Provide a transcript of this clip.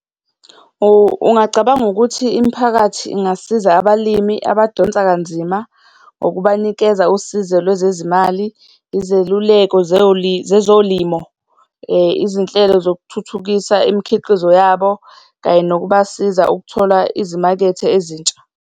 Ungacabanga ukuthi imiphakathi ingasiza abalimi abadonsa kanzima, ngokubanikeza usizo lwezezimali, izeluleko zezolimo, izinhlelo zokuthuthukisa imikhiqizo yabo, kanye nokubasiza ukuthola izimakethe ezintsha.